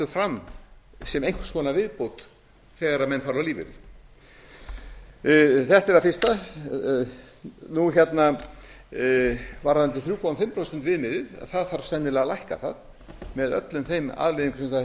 fram sem einhvers konar viðbót þegar menn fara á lífeyri þetta er það fyrsta varðandi þrjú og hálft prósent viðmiðið þá þarf sennilega að lækka það með öllum þeim afleiðingum sem það